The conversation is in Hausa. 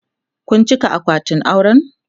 Kun cika akwatin auren?